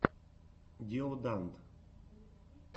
диоданд